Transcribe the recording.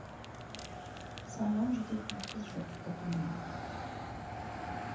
саған жететін қыз жоқ бұл дүниеде